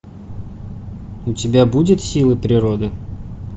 у тебя будет силы природы